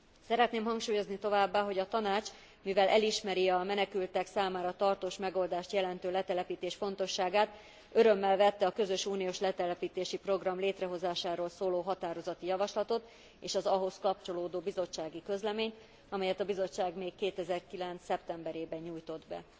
Szeretném hangsúlyozni továbbá, hogy a Tanács, mivel elismeri a menekültek számára tartós megoldást jelentő letelepítés fontosságát, örömmel vette a közös uniós letelepítési program létrehozásáról szóló határozati javaslatot és az ahhoz kapcsolódó bizottsági közleményt, amelyet a Bizottság még 2009 szeptemberében nyújtott be.